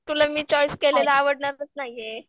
तुला मी चॉईस केलेला आवडणारच नाहीये.